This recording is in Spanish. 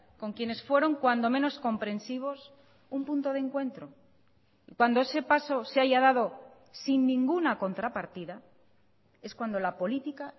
con quienes fueron cuando menos comprensivos un punto de encuentro cuando ese paso se haya dado sin ninguna contrapartida es cuando la política